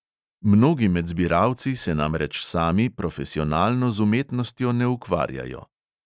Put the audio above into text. Mnogi med zbiralci se namreč sami profesionalno z umetnostjo ne ukvarjajo.